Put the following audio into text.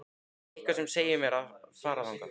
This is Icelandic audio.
Eitthvað sem segir mér að fara þangað.